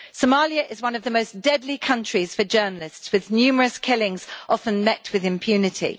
Somalia is one of the most deadly countries for journalists, with numerous killings often met with impunity.